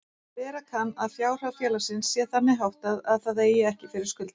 Vera kann að fjárhag félags sé þannig háttað að það eigi ekki fyrir skuldum.